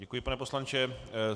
Děkuji, pane poslanče.